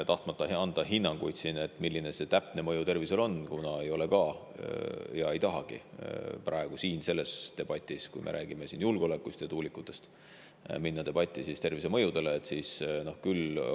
Ma ei taha anda hinnanguid, milline see täpne mõju tervisele on, kuna ma ei tahagi praegu siin sellest debatist, kui me räägime julgeolekust ja tuulikutest, minna üle debatile tervisemõjude kohta.